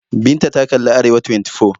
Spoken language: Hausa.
Binta ta kalli Arewa24.